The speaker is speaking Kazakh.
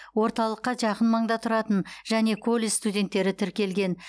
орталыққа жақын маңда тұратын және колледж студенттері тіркелген